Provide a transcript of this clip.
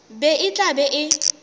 be e tla be e